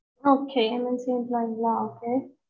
okay MNC லியா okay